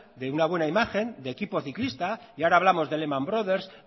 de una buena imagen del equipo ciclista y ahora hablamos de lehman brothers